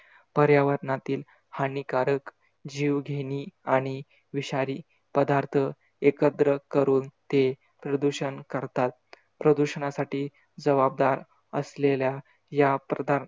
पर्यावरणातील हानिकारक, जीवघेणी आणि विषारी पदार्थ एकत्र करून ते प्रदूषण करतात. प्रदुषणासाठी जबाबदार असलेल्या या प्रदा